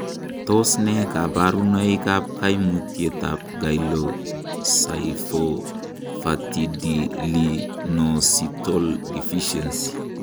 Tos nee koborunoikab koimutietab Glycosylphosphatidylinositol deficiency?